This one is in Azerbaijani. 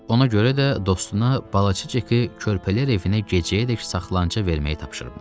Ona görə də dostuna balaca Ceki körpəliklər evinə gecəyədək saxlanıca verməyi tapşırmışdı.